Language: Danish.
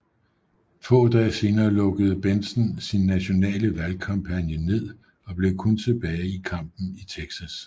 Få dage senere lukkede Bentsen sin nationale valgkampagne ned og blev kun tilbage i kampen i Texas